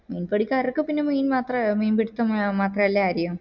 മീൻ പിടിക്കാർക്ക് പിന്നെ മീൻ മാത്രേ മീൻ പിടിത്തം മാത്രല്ലേ അരിയൂ